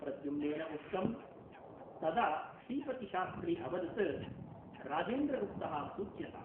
प्रद्युम्नेन उक्तम् । तदा श्रीपतिशास्त्री अवदत् राजेन्द्रगुप्तः सूच्यताम् ।